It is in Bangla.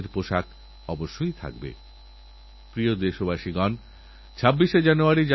আমরা আজকের যুবপ্রজন্মকে অটলগ্র্যাণ্ড চ্যালেঞ্জেসএর প্রতি আহ্বান জানিয়েছি